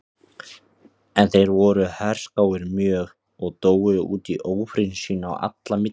En þeir voru herskáir mjög og dóu út í ófriði sín á milli.